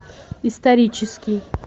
исторический